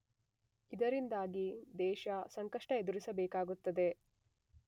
ಇದರಿಂದಾಗಿ ದೇಶ ಸಂಕಷ್ಟ ಎದುರಿಸಬೇಕಾಗುತ್ತದೆ.